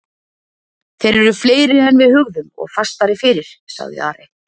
Þeir eru fleiri en við hugðum og fastari fyrir, sagði Ari.